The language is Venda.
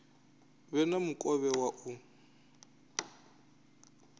vhe na mukovhe wa u